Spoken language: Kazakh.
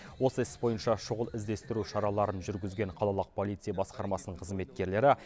осы іс бойынша шұғыл іздестіру шараларын жүргізген қалалық полиция басқармасының қызметкерлері